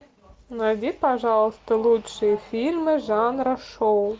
найди пожалуйста лучшие фильмы жанра шоу